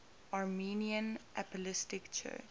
armenian apostolic church